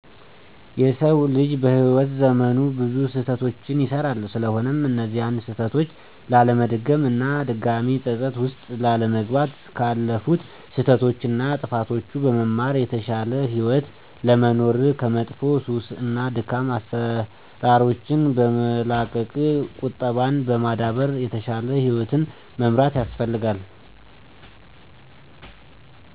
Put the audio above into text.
የሰው ልጅ በህይዎት ዘመኑ ብዙ ስህተቶችን ይሰራል ስለሆነም እነዚያን ስህተቶች ላለመድገም እና ድጋሜ ፀፀት ውስጥ ላለመግባት ካለፉት ስህተቶች እና ጥፋቶች በመማር የተሻለ ህይወት ለመኖር ከመጥፎ ሱስ እና ደካማ አሰራሮችን በመላቀቅ ቁጠባን በማዳበር የተሻለ ህይወትን መምራት ያስፈልጋል።